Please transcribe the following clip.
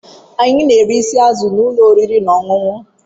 Anyị na-eri isi azụ na ụlọ oriri na ọṅụṅụ.